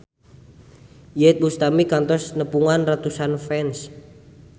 Iyeth Bustami kantos nepungan ratusan fans